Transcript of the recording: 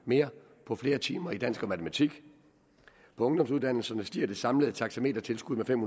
mere på flere timer i dansk og matematik på ungdomsuddannelserne stiger det samlede taxametertilskud med fem